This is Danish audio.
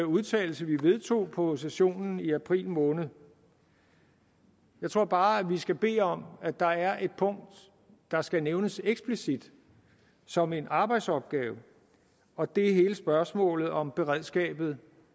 udtalelse vi vedtog på sessionen i april måned jeg tror bare at vi skal bede om at der er et punkt der skal nævnes eksplicit som en arbejdsopgave og det er hele spørgsmålet om beredskabet